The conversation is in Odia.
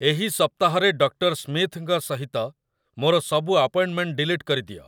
ଏହି ସପ୍ତାହରେ ଡକ୍ଟର ସ୍ମିଥ୍‌ଙ୍କ ସହିତ ମୋର ସବୁ ଆପଏଣ୍ଟ୍‌ମେଣ୍ଟ୍‌ ଡିଲିଟ୍ କରିଦିଅ